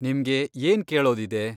ನಿಮ್ಗೆ ಏನ್ ಕೇಳೋದಿದೆ?